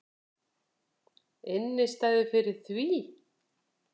Innistæðu fyrir því!